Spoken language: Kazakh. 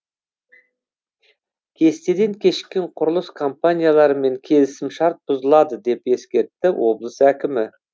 кестеден кешіккен құрылыс компанияларымен келісімшарт бұзылады деп ескертті облыс әкімі